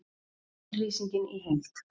Yfirlýsingin í heild